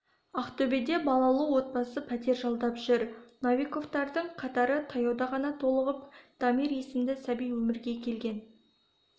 ақтөбеде балалы отбасы пәтер жалдап жүр новиковтардың қатары таяуда ғана толығып дамир есімді сәби өмірге келген